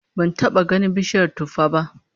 Ban taba ganin bishiyar tuffah ba